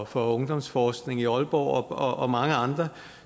for ungdomsforskning i aalborg og og mange andre